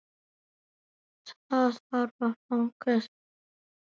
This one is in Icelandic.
Það þarf að fagna því.